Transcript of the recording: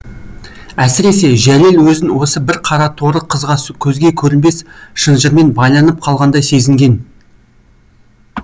әсіресе жәлел өзін осы бір қара торы қызға көзге көрінбес шынжырмен байланып қалғандай сезінген